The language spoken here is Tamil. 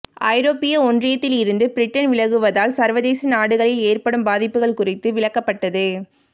ஐரோப்பிய ஒன்றியத்தில் இருந்து பிரிட்டன் விலகுவதால் சர்வதேச நாடுகளில் ஏற்படும் பாதிப்புகள் குறித்து விளக்கப்பட்டது